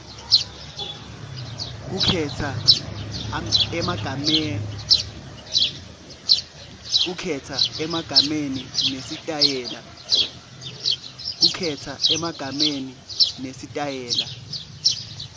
kukhetsa emagama nesitayela